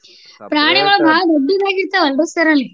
ಪ್ರಾಣಿಗಳ್ ಬಾಳ್ ದೊಡ್ಡದಾಗಿ ಇರತವಲ್ರಿ sir ಅಲ್ಲಿ.